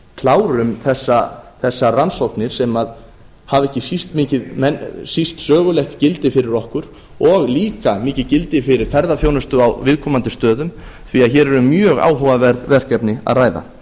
klárum þessar rannsóknir sem hafa ekki síst sögulegt gildi fyrir okkur og líka mikið gildi fyrir ferðaþjónustu á viðkomandi stöðum því að hér er um mjög áhugaverð verkefni að ræða